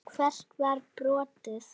Hvert var brotið?